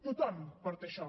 tothom porta això